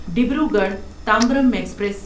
Dibrugarh Tambaram express